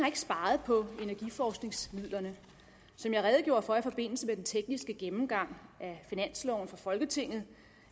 ikke sparet på energiforskningsmidlerne som jeg redegjorde for i forbindelse med den tekniske gennemgang af finansloven for folketinget